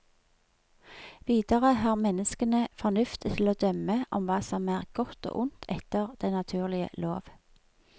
Videre har menneskene fornuft til å dømme om hva som er godt og ondt etter den naturlige lov.